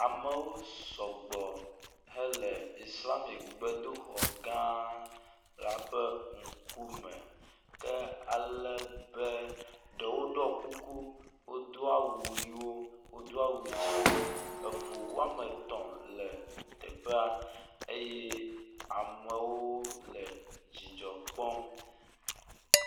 Amewo sɔgbɔ hele islamigbedoxɔ gã la ƒe ŋkume ke ale be ɖewo ɖɔ kuku, wodo awu ʋiwo, wodo awu dzɛ̃wo, eŋu wome etɔ̃ le teƒea eye amewo le dzidzɔ kpɔm.